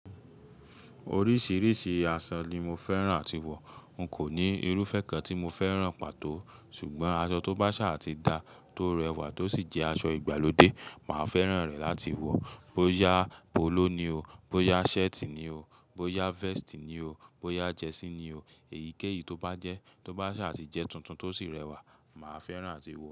Oríṣiríṣi aṣọ ni mo fẹ́ràn àti wọ̀. N kò ní irú fẹ́ kan tí mo fẹ́ràn pàtó. Ṣùgbọ́n aṣọ tó bá ṣà àti dá, tó rẹwà, tó sì jẹ́ aṣọ ìgbàlódé, màá fẹ́ràn rẹ̀ láti wọ̀. Bóyá póló ni o, bóyá shirt ni o, bóyá vest ni o, bóyá jersey ni o. Èyíkéyìí tó bá jẹ́, tó bá ṣà sì jẹ́ tuntun tó sì rẹwà, màá fẹ́ràn àti wọ̀.